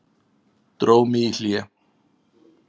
Dró mig í hlé.